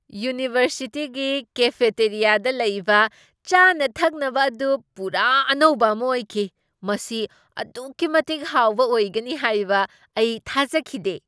ꯌꯨꯅꯤꯚꯔꯁꯤꯇꯤꯒꯤ ꯀꯦꯐꯦꯇꯦꯔꯤꯌꯥꯗ ꯂꯩꯕ ꯆꯥꯅ ꯊꯛꯅꯕ ꯑꯗꯨ ꯄꯨꯔꯥ ꯑꯅꯧꯕ ꯑꯃ ꯑꯣꯏꯈꯤ ꯫ ꯃꯁꯤ ꯑꯗꯨꯛꯀꯤ ꯃꯇꯤꯛ ꯍꯥꯎꯕ ꯑꯣꯏꯒꯅꯤ ꯍꯥꯏꯕ ꯑꯩ ꯊꯥꯖꯈꯤꯗꯦ ꯫